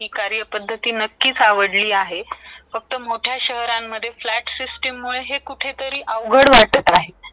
ती कऱ्या पद्धती नक्कीच आवडली आहे फक्त मोठ्या शहरं मदे flat system मुळे कुठेतरी अवघड वाटत आहे .